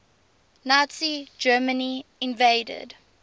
nazi germany invaded